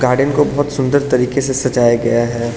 Garden को बहोत सुंदर तरीके से सजाया गया है।